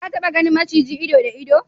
ka taba ganin maciji ido da ido?